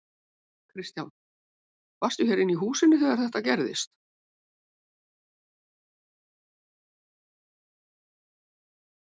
Kristján: Varstu hér inni í húsinu þegar þetta gerðist?